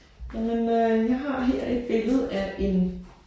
Jamen øh jeg har her et billede af en